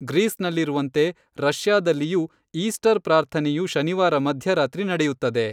ಗ್ರೀಸ್‌ನಲ್ಲಿರುವಂತೆ ರಷ್ಯಾದಲ್ಲಿಯೂ ಈಸ್ಟರ್ ಪ್ರಾರ್ಥನೆಯು ಶನಿವಾರ ಮಧ್ಯರಾತ್ರಿ ನಡೆಯುತ್ತದೆ